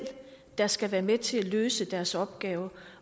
der skal være med til at løse deres opgave